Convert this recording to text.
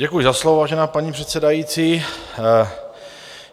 Děkuji za slovo, vážená paní předsedající.